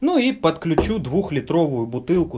ну и подключу двухлитровую бутылку